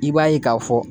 I b'a ye k'a fɔ